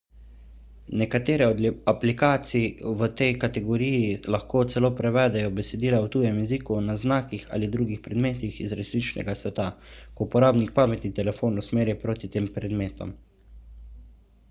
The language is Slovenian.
nekatere od aplikacij v tej kategoriji lahko celo prevedejo besedila v tujem jeziku na znakih ali drugih predmetih iz resničnega sveta ko uporabnik pametni telefon usmeri proti tem predmetom